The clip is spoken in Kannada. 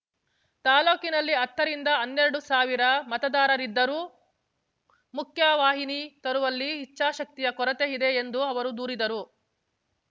ತಾಲೂಕಿನಲ್ಲಿ ಹತ್ತ ರಿಂದ ಹನ್ನೆರಡು ಸಾವಿರ ಮತದಾರರಿದ್ದರೂ ಮುಖ್ಯವಾನಿ ತರುವಲ್ಲಿ ಇಚ್ಚಾಶಕ್ತಿಯ ಕೊರತೆಇದೆ ಎಂದು ಅವರು ದೂರಿದರು